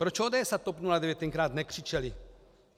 Proč ODS a TOP 09 tenkrát nekřičely?